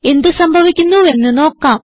എന്ത് സംഭവിക്കുന്നുവെന്ന് നോക്കാം